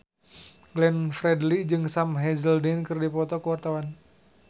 Glenn Fredly jeung Sam Hazeldine keur dipoto ku wartawan